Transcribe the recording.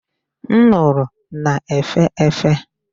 Nduru na-efe efe.